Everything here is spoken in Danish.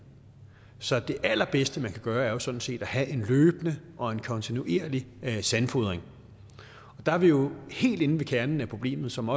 så det allerbedste man kan gøre er jo sådan set at have en løbende og kontinuerlig sandfodring der er vi jo helt inde ved kernen af problemet som